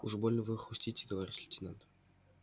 уж больно вы хрустите товарищ лейтенант